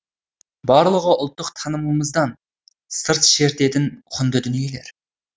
барлығы ұлттық танымымыздан сыр шертетін құнды дүниелер